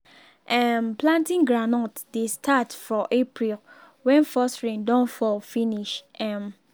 um planting groundnut dey start for april wen first rain don fall finish um